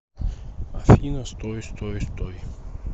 афина стой стой стой